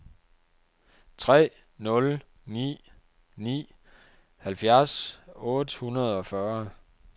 tre nul ni ni halvfjerds otte hundrede og fyrre